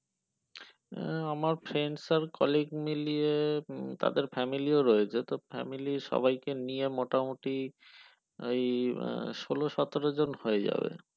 আহ আমাদের friend আর colleague মিলিয়ে উম তাদের family ও রয়েছে তো family সবাইকে নিয়ে মোটামোটি ওই সলসাতের জন হয়ে যাবে